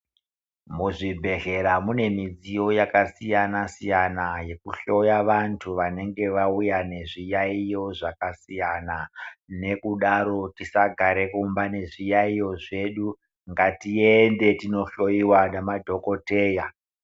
Muzvibhedhlera mune midziyo yakasiyana siyana yekuhloya vantu vanenge vauya nezviyaiyo zvakasiyana nekudaro ngatisagara mumba nezviyaiyo zvedu. Ngatiende tindohloyiwa ngemadhokodheya.